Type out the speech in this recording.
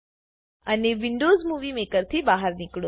અને Windows movie maker થી બહાર નીકળો